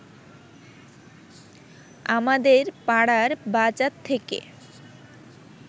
আমাদের পাড়ার বাজার থেকে